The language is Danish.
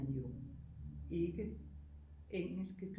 Jo ikke engelske